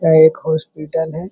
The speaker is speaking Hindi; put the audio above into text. यह एक हॉस्पिटल है।